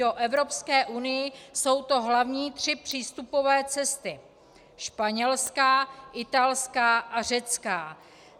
Do Evropské unie jsou to hlavní tři přístupové cesty - španělská, italská a řecká.